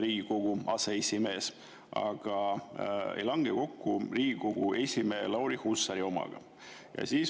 Riigikogu teine aseesimees, aga ei lange kokku Riigikogu esimehe Lauri Hussari omaga.